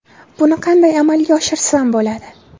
Buni qanday amalga oshirsam bo‘ladi?